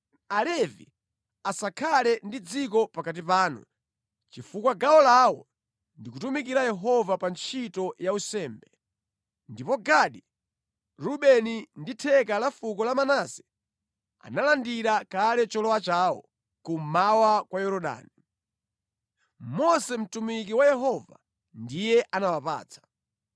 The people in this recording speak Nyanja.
Alevi asakhale ndi dziko pakati panu, chifukwa gawo lawo ndi kutumikira Yehova pa ntchito ya unsembe. Ndipo Gadi, Rubeni ndi theka la fuko la Manase analandira kale cholowa chawo kummawa kwa Yorodani. Mose mtumiki wa Yehova ndiye anawapatsa.”